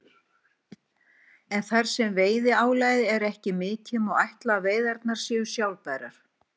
En þar sem veiðiálagið er ekki mikið má ætla að veiðarnar séu sjálfbærar.